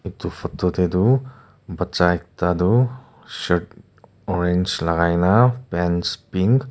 etu photo de tu baccha ekta du shirt orange lagaina pants pink --